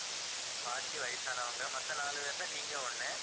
பாட்டி வயசானவங்க மத்த நாலு பேர்ல நீங்க ஒண்ணு